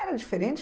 Era diferente?